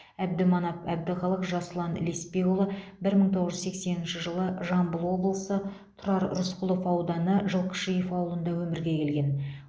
әбдіманап әбдіхалық жасұлан лесбекұлы бір мың тоғыз жүз сексенінші жылы жамбыл облысы тұрар рысқұлов ауданы жылқышиев ауылында өмірге келген